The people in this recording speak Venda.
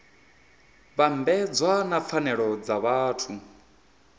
vhambedzwa na pfanelo dza vhathu